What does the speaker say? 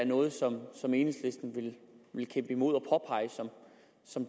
noget som enhedslisten vil kæmpe imod